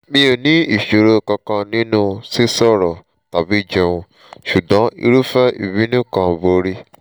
mi ò ní ìṣòro kankan nínú sísọ̀rọ̀ tàbí jẹun ṣùgbọ́n irúfẹ́ ìbínú kan borí